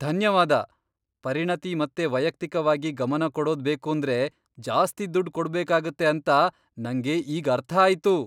ಧನ್ಯವಾದ! ಪರಿಣತಿ ಮತ್ತೆ ವೈಯಕ್ತಿಕವಾಗಿ ಗಮನ ಕೊಡೋದ್ ಬೇಕೂಂದ್ರೆ ಜಾಸ್ತಿ ದುಡ್ಡ್ ಕೊಡ್ಬೇಕಾಗತ್ತೆ ಅಂತ ನಂಗೆ ಈಗ್ ಅರ್ಥ ಆಯ್ತು!